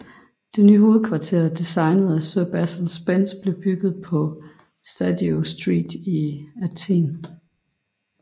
Det nye hovedkvarter designet af Sir Basil Spence blev bygget på Stadiou Street i Athen